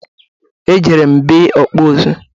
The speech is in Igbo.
Ejere m be ọkpụ ụzụ.